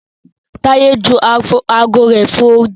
Taye jù ààgo rẹ fò odi.